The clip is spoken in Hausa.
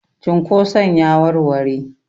cunkoson ya warware?